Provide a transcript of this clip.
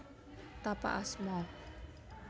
Tapak asma